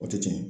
O tɛ tiɲɛ